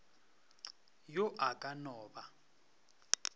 yo a ka no ba